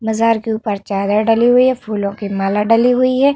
मजार के ऊपर चादर डली हुई है। फूलों की माला डली हुई है।